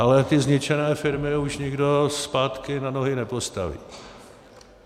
Ale ty zničené firmy už nikdo zpátky na nohy nepostaví.